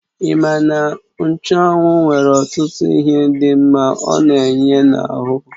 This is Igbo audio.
Ima na nchụ́anwu nwere ọtụtụ ihe dị mma ọ na-enye n'ahụ?